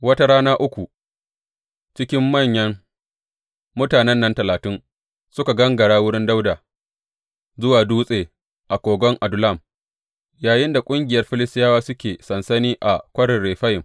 Wata rana uku cikin manyan mutanen nan talatin suka gangara wurin Dawuda zuwa dutse a kogon Adullam, yayinda ƙungiyar Filistiyawa suke sansani a Kwarin Refayim.